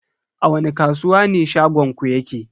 A wani kasuwa ne shagonku yake?